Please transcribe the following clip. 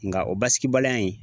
Nka o basigibaliya in